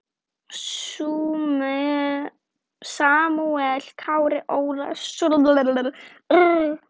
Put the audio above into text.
Samúel Karl Ólason.